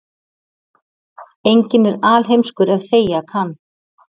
Enginn er alheimskur ef þegja kann.